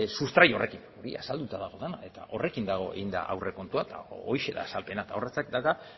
sustrai horrekin hori azalduta dago dena eta horrekin dago eginda aurrekontua eta horixe da azalpena eta